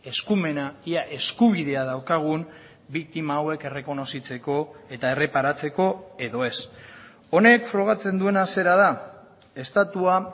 eskumena ia eskubidea daukagun biktima hauek errekonozitzeko eta erreparatzeko edo ez honek frogatzen duena zera da estatua